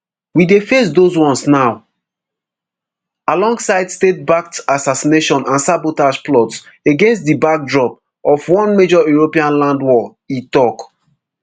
we dey face those ones now alongside statebacked assassination and sabotage plots against di backdrop of one major european land war e tok